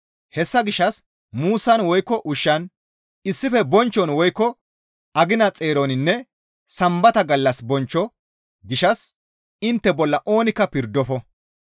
Hessa gishshas muussan woykko ushshan, issife bonchchon woykko agina xeeroninne Sambata gallas bonchcho gishshas intte bolla oonikka pirdofo.